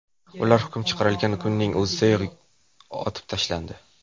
Ular hukm chiqarilgan kunning o‘zidayoq otib tashlandi.